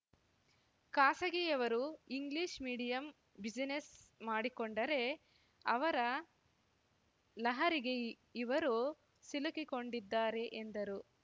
ಖಾಸಗಿಯವರು English medium business ಮಾಡಿಕೊಂಡರೆ ಅವರ ಲಹರಿಗೆ ಇವರು ಸಿಲುಕಿಕೊಂಡಿದ್ದಾರೆ ಎಂದರು